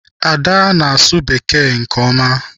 Ada na-asụ bekee nke ọma.